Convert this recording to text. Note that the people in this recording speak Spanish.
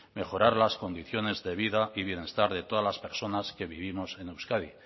mejorar las condiciones de vida y bienestar de todas las personas que vivimos en euskadi